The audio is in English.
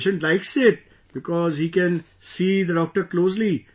The patient likes it because he can see the doctor closely